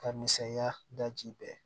Ka misɛnya da ji bɛɛ